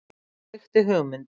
Og kveikti hugmynd.